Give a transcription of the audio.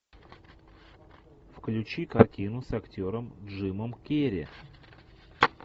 включи картину с актером джимом керри